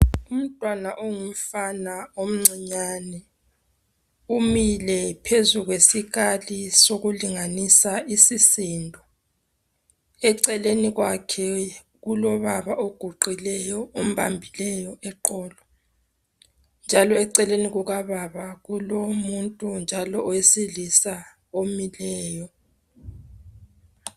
Umntwana ongumfana omncinyane umile phezu kwesikali sokulinganisa isisindo. Eceleni kwakhe kulobaba oguqileyo ombambileyo eqolo njalo eceleni kukababa kulomuntu njalo owesilisa omileyo.